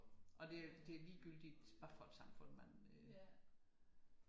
Og det er ligegyldigt hvad for et samfund man øh